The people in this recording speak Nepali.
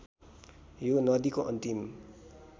यो नदीको अन्तिम